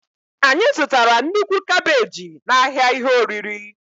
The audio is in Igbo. Anyị zụtara nnukwu kabeji n'ahịa ihe oriri.